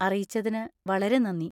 അറിയിച്ചതിന് വളരെ നന്ദി.